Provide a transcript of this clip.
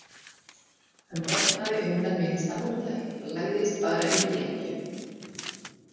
Hann brotnaði undan minnsta mótlæti og lagðist bara í drykkju.